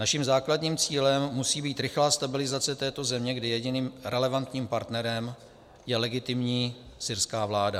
Naším základním cílem musí být rychlá stabilizace této země, kdy jediným relevantním partnerem je legitimní syrská vláda.